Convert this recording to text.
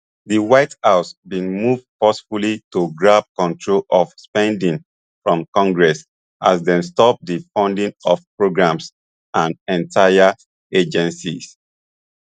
di white house bin move forcefully to grab control of spending from congress as dem stop di funding of programmes and entire agencies